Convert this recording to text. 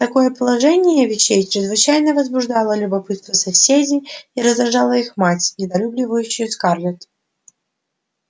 такое положение вещей чрезвычайно возбуждало любопытство соседей и раздражало их мать недолюбливающую скарлетт